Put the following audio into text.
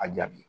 A jaabi